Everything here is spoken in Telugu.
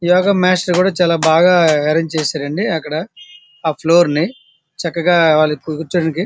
యోగ మాస్టర్ కూడా చాలా బాగా ఆరెంజ్ చేసారు బాగా అన్ని కూడా ఇక్కడ ఆ ఫ్లోర్ నీ ఎక్కడ వాళ్లు ఎక్కి కుచోడానిక.